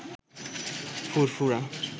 ফুরফুরা